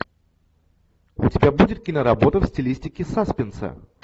у тебя будет киноработа в стилистике саспенса